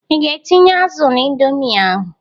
Ị ga-etịnye azụ na Indomi ahụ?